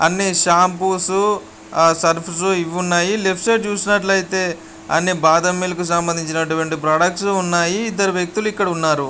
అన్ని shampoos surfs ఇవున్నాయి. Left side చూసినట్లయితే అన్ని బాదం మిల్క్ కి సంబంధించినట్టువంటి ప్రొడక్ట్స్ ఇక్కడ ఉన్నాయి. ఇద్దరు వ్యక్తులు ఇక్కడ ఉన్నారు.